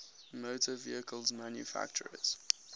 motor vehicle manufacturers